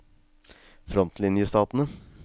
frontlinjestatene